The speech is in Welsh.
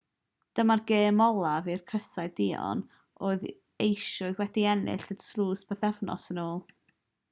dyma'r gêm olaf i'r crysau duon oedd eisoes wedi ennill y tlws bythefnos yn ôl